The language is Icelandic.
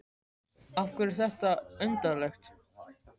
Af hverju er þetta undarlegt?